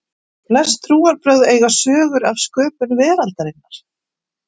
Flest trúarbrögð eiga sögur af sköpun veraldarinnar.